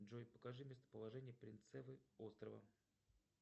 джой покажи местоположение принцевы острова